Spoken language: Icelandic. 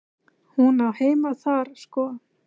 Hún á heima þar sko.